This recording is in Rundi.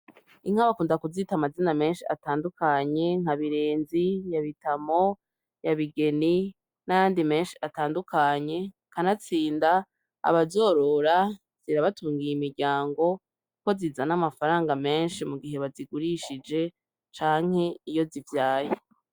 Inka bakunda kuzita amazina menshi atandukanye nka birenzi, nyabitamo, nyabigeni n’ayandi menshi atandukanye. Akanatsinda abazorora zirabatunga imiryango kuko zizana amafaranga menshi mu gihe bazigurishije canke iyo zivyaye.